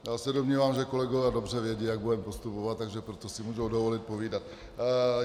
Já se domnívám, že kolegové dobře vědí, jak budeme postupovat, takže proto si mohou dovolit povídat.